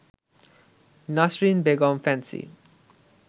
Nasrin Begum fancy